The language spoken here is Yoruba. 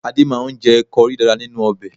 Adé máa ń jẹ kọrí dáadáa nínú ọbẹ̀